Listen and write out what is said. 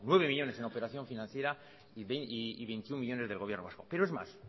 nueve millónes en operación financiera y veintiuno millónes del gobierno vasco pero es más